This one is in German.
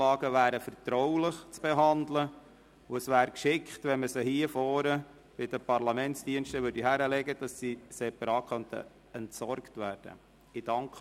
Diese sind vertraulich zu behandeln, und es wäre gut, wenn Sie sie hier vorne bei den Parlamentsdiensten hinlegen würden, sodass diese separat entsorgt werden können.